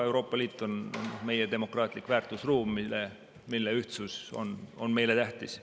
Euroopa Liit on meie demokraatlik väärtusruum, mille ühtsus on meile tähtis.